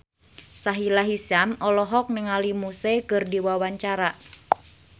Sahila Hisyam olohok ningali Muse keur diwawancara